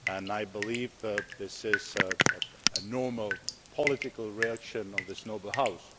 I believe that this is a normal political reaction of this noble House.